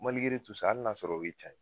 Maligere tu sa ali n'a y'a sɔrɔ o ye can ye